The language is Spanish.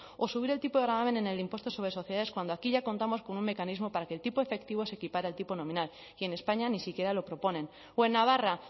o subir el tipo de gravamen en el impuesto sobre sociedades cuando aquí ya contamos con un mecanismo para que el tipo efectivo se equipare al tipo nominal y en españa ni siquiera lo proponen o en navarra